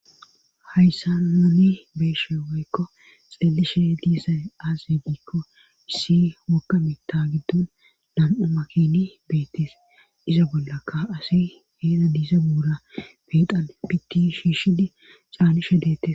hayssa naani beeshe waykko xeelishe diissay aaze giikko issi wokkami ta giddun nam7u makini beettees izo bollakka asi heeda diisa buura beexan piti shiishidi caanishe deette